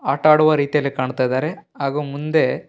ಆಟ ಆಡುವ ರೀತಿಯಲ್ಲಿ ಕಾಣ್ತಾ ಇದ್ದಾರೆ ಹಾಗು ಮುಂದೆ --